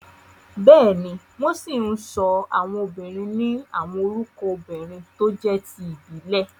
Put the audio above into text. Bẹ́ẹ̀ni, wọ́n ṣì ń sọ àwọn obìnrin ni àwọn orúkọ obìrin tó jé ti ìbílẹ̀.